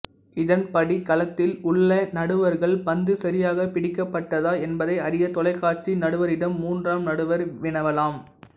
இதன்படி களத்தில் உள்ள நடுவர்கள் பந்து சரியாகப் பிடிக்கப்பட்டதா என்பதை அறிய தொலைக்காட்சி நடுவரிடம் மூன்றாம் நடுவர் வினவலாம்